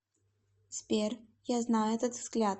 сбер я знаю этот взгляд